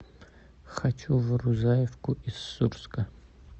хочу в рузаевку из сурска